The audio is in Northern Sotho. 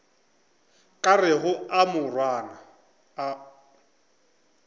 ka rego a morwana o